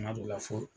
Kuma dɔ la fɔ